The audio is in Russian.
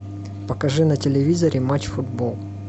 покажи на телевизоре матч футбол